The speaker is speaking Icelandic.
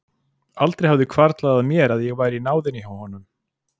Aldrei hafði hvarflað að mér að ég væri í náðinni hjá honum!